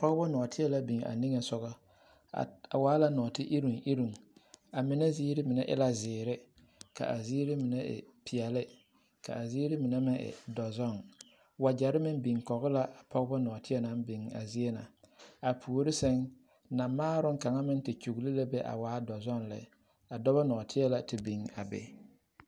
Pɔɡebɔ nɔɔteɛ la biŋ a niŋe soɡa a waa la nɔɔteiroŋiroŋ a mine ziiri mine e la ziiri ka a ziiri mine e peɛle ka a ziiri mine e dɔzɔɡe waɡyɛre meŋ biŋ kɔɡe la a pɔɡebɔ nɔɔteɛ naŋ biŋ a zie na a puori sɛŋ namaaroŋ kaŋ te kyuɡele la be a waa dɔzɔɡe lɛ dɔbɔ nɔɔteɛ la te biŋ a be.